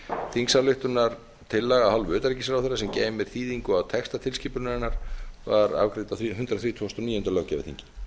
þingsályktunartillaga af hálfu utanríkisráðherra sem geymir þýðingu á texta tilskipunarinnar var afgreidd á hundrað þrítugasta og níunda löggjafarþingi